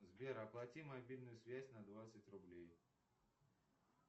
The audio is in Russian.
сбер оплати мобильную связь на двадцать рублей